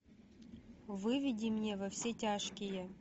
выведи мне во все тяжкие